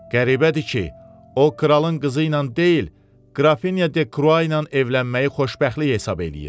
Qəribədir ki, o kralın qızı ilə deyil, Qrafinya de Krua ilə evlənməyi xoşbəxtlik hesab eləyir.